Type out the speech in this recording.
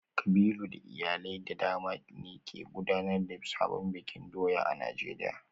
Kabilu da iyalai da dama ne ke gudanar da sabon bikin doya a Najeriya